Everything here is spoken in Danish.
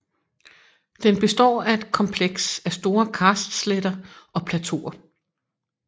Den består af et kompleks af store karstsletter og plateauer